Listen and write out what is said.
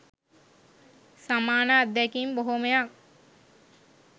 සමාන අත්දැකීම් බොහොමයක්